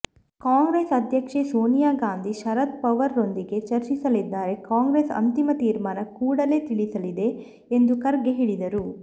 ಕಾಂಗ್ರೆಸ್ ಅಧ್ಯಕ್ಷೆ ಸೋನಿಯಾ ಗಾಂಧಿ ಶರದ್ ಪವಾರ್ರೊಂದಿಗೆ ಚರ್ಚಿಸಲಿದ್ದಾರೆ ಕಾಂಗ್ರೆಸ್ ಅಂತಿಮ ತೀರ್ಮಾನ ಕೂಡಲೇ ತಿಳಿಸಲಿದೆ ಎಂದು ಖರ್ಗೆ ಹೇಳಿದರು